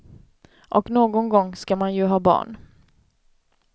Och någon gång skall man ju ha barn.